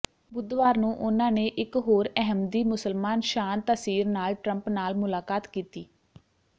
ਬੁੱਧਵਾਰ ਨੂੰ ਉਨ੍ਹਾਂ ਨੇ ਇਕ ਹੋਰ ਅਹਿਮਦੀ ਮੁਸਲਮਾਨ ਸ਼ਾਨ ਤਾਸੀਰ ਨਾਲ ਟਰੰਪ ਨਾਲ ਮੁਲਾਕਾਤ ਕੀਤੀ